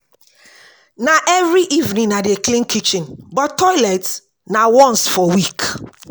Na every evening I dey clean kitchen, but toilet na once for week.